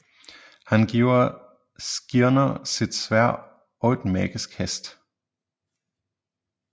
Han giver Skirner sit sværd og en magisk hest